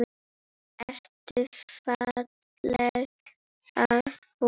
Ertu ferlega fúll?